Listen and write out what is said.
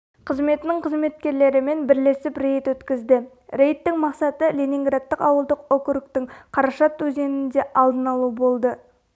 қызметінің қызметкерлерімен бәрлесіп рейд өткізді рейдтің мақсаты ленинградтық ауылдық округтың карашат өзенінде алдын алу болды